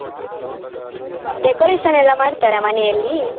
Decoration ಎಲ್ಲ ಮಾಡ್ತಾರಾ ಮನೆಯಲ್ಲಿ?